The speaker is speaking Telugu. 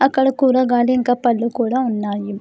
అక్కడ కూడా గాలి ఇంకా పళ్ళు కూడా ఉన్నాయి.